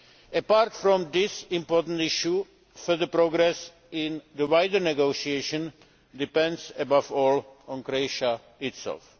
Apart from this important issue, further progress in the wider negotiations depends, above all, on Croatia itself.